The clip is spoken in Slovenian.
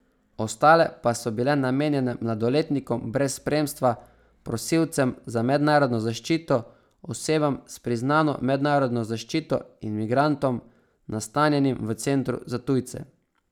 Ostale pa so bile namenjene mladoletnikom brez spremstva, prosilcem za mednarodno zaščito, osebam s priznano mednarodno zaščito in migrantom nastanjenim v Centru za tujce.